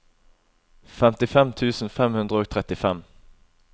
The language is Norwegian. femtifem tusen fem hundre og trettifem